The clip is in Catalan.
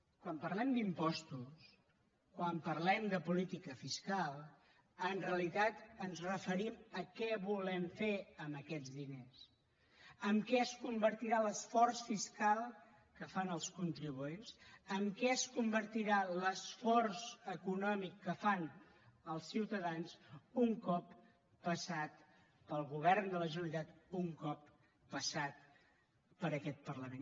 quan parlem d’impostos quan parlem de política fiscal en realitat ens referim a què volem fer amb aquests diners en què es convertirà l’esforç fiscal que fan els contribuents en què es convertirà l’esforç econòmic que fan els ciutadans un cop passat pel govern de la generalitat un cop passat per aquest parlament